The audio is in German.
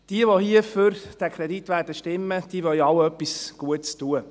Diejenigen, welche hier für diesen Kredit stimmen werden, wollen alle etwas Gutes tun.